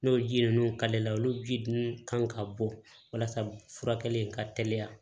N'o ji ninnu karili la olu ji dun kan ka bɔ walasa furakɛli in ka teliya